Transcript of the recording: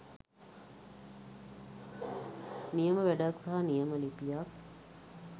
නියම වැඩක් සහ නියම ලිපියක්.